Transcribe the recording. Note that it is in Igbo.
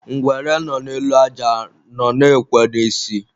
ngwere nọ n'elu aja nọ na-ekwe n'isi.